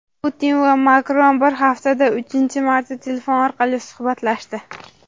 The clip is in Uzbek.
Putin va Makron bir haftada uchinchi marta telefon orqali suhbatlashdi.